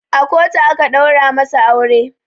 A kotu aka ɗaura masu aure